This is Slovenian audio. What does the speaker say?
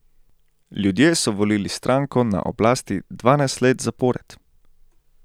Ljudje so volili stranko na oblasti dvanajst let zapored.